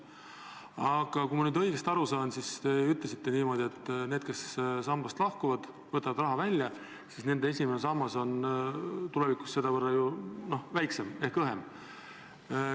Aga kui ma nüüd õigesti aru saan, siis te ütlesite niimoodi, et need, kes sambast lahkuvad ja raha välja võtavad, nende esimene sammas on tulevikus selle võrra väiksem ehk õhem.